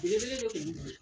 Belebele de kun